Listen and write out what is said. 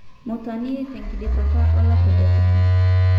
Mutanii tenkidipata olapa le tomon.